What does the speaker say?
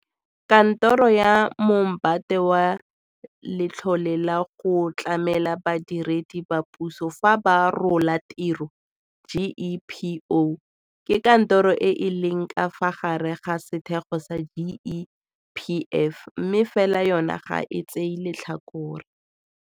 Kantoro ya Moombate wa Letlhole la go Tlamela Badiredi ba Puso fa ba Rola Tiro GEPO ke kantoro e e leng ka fa gare ga sethego sa GEPF mme fela yona ga e tsee letlhakore.